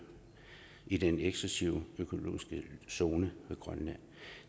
i den eksklusive økonomiske zone ved grønland